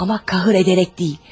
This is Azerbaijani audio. Amma kahr edərək deyil.